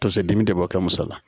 Tonso dimi de b'o kɛ muso la